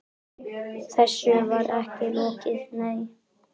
Þessu var ekki lokið, nei.